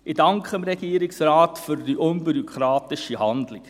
Ich danke dem Regierungsrat für diese unbürokratische Handlung.